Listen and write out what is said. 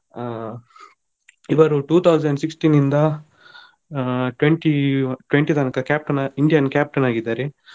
ಆ ಇವರು two thousand sixteen ಇಂದ ಆ twenty twenty ತನಕ captain Indian captain ಆಗಿದ್ದಾರೆ.